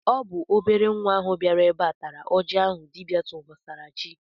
Ọ bụ obere nwa ahụ bịara ebe a tara oji ahụ dibịa tụsara chi.